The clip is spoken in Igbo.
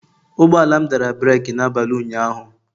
Ụgbọ ala m dara breeki n'abalị ụnyaahụ